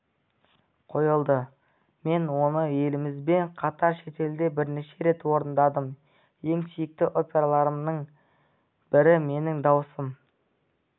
қойылды мен оны елімізбен қатар шетелде бірнеше рет орындадым ең сүйікті операларымның бірі менің дауысым